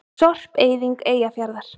Sorpeyðing Eyjafjarðar.